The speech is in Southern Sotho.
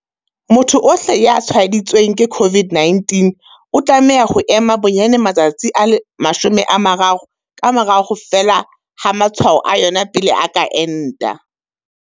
Motho ohle ya tshwaeditsweng ke COVID-19 o tlameha ho ema bonyane matsatsi a 30 ka mora ho fela ha matshwao a yona pele a ka enta.